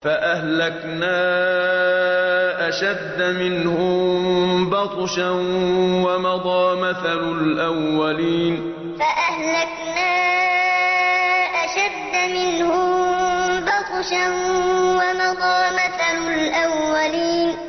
فَأَهْلَكْنَا أَشَدَّ مِنْهُم بَطْشًا وَمَضَىٰ مَثَلُ الْأَوَّلِينَ فَأَهْلَكْنَا أَشَدَّ مِنْهُم بَطْشًا وَمَضَىٰ مَثَلُ الْأَوَّلِينَ